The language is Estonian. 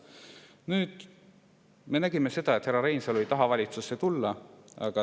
Nüüd, me nägime seda, et härra Reinsalu ei taha valitsusse tulla.